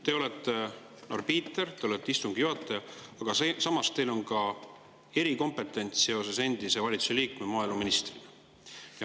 Te olete arbiiter, te olete istungi juhataja, aga samas teil on ka erikompetents endise valitsuse liikme ja maaeluministrina.